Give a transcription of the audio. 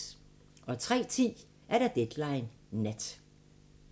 03:10: Deadline Nat